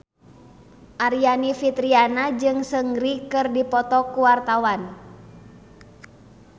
Aryani Fitriana jeung Seungri keur dipoto ku wartawan